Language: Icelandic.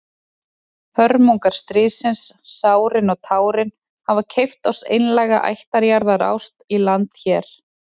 Hörmungar stríðsins, sárin og tárin, hafa keypt oss einlæga ættjarðarást í landi hér.